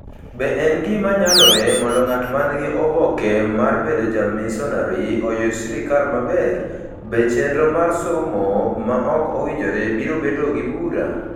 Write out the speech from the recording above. Be en gima nyalore mondo ng'at ma nigi oboke mar bedo jamisonari oyud sirkal maber? Be chenro mar somo ma ok owinjore biro bedo gi bura?